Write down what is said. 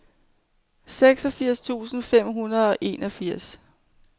seksogfirs tusind fem hundrede og enogfirs